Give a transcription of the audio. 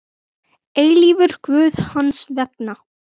eilífur Guð hans vegna.